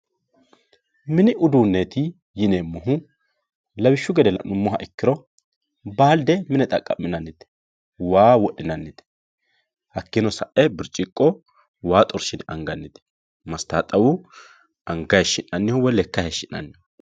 mini uduunneeti yineemmohu lawishshu gede la'nummoha ikkiro baalde mine xaqqa'minannite waa wodhinannite hakkiichino sa'e birciqqo waa xorshi'ne angannite mastaaxxawu anaga hayiishshi'nanniho woyi lekka hayiishshi'nanniho